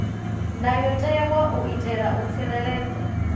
ndayotewa u itela u tsireledza